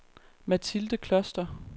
Mathilde Kloster